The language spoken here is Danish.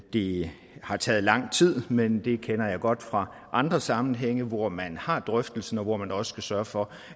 det har taget lang tid men det kender jeg godt fra andre sammenhænge hvor man har drøftelsen og hvor man også skal sørge for